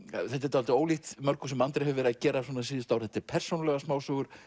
dálítið ólíkt mörgu sem Andri hefur verið að gera síðustu ár þetta eru persónulegar smásögur